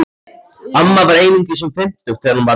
Amma var einungis um fimmtugt þegar hún varð ekkja.